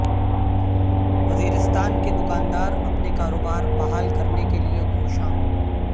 وزیرستان کے دکاندار اپنے کاروبار بحال کرنے کے لیے کوشاں